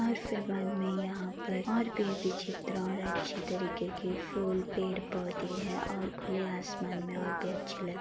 और फिर बाद में यहाॅं पर और भी चित्र और अच्छी तरीके के फूल पेड़ पौधे हैं और खुले आसमान में और भी अच्छे लग --